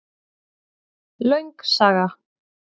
Löng saga